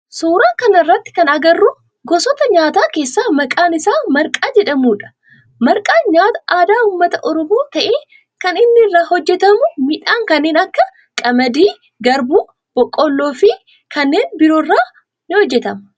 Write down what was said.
Suuraa kana irratti kan agarru gosoota nyaataa keessaa maqaan isaa marqaa jedhamudha. Marqaan nyaata aadaa ummata oromoo ta'ee kan inni irraa hojjetamu midhaan kanneen akka qamadii, garbuu, boqqoolloo fi kanneen biroo irraa hojjetama.